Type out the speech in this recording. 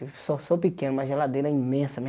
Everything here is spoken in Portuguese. Eu só sou pequeno, mas geladeira é imensa né.